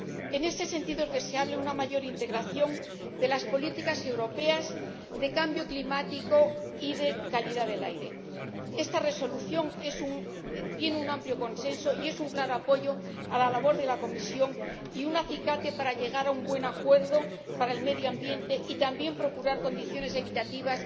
En ese sentido, es deseable una mayor integración de las políticas europeas de cambio climático y de calidad del aire. Esta Resolución tiene un amplio consenso y es un claro apoyo a la labor de la Comisión y un acicate para llegar a un buen acuerdo para el medio ambiente y también procurar condiciones equitativas